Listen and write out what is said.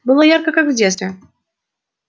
было ярко как в детстве